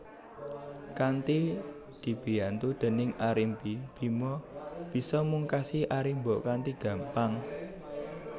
Kanthi dibiyantu déning Arimbi Bima bisa mungkasi Arimba kanthi gampang